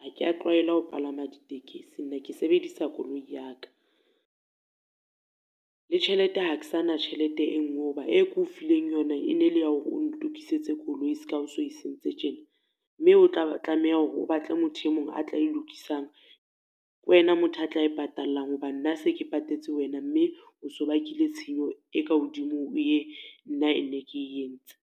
Ha ke ya tlwaelwa ho palama ditekesi nna ke sebedisa koloi ya ka. Le tjhelete ha ke sa na tjhelete e nngwe ho ba e ke o fileng yona, e ne le ya hore o ntokisetse koloi se ka ha o se o e sentse tjena. Mme o tla tlameha hore o batle motho e mong a tla e lokisang. Ke wena motho a tla e patallang hobane nna se ke patetse wena mme o so bakileng tshenyo e ka hodimo, ho e nna e ne ke e entse.